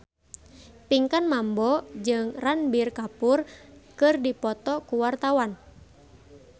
Pinkan Mambo jeung Ranbir Kapoor keur dipoto ku wartawan